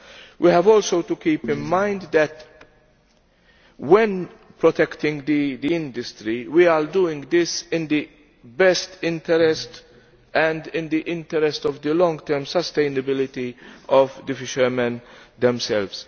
We have also to keep in mind that, when protecting the industry, we are doing this in the best interest and in the interest of the long term sustainability of fishermen themselves.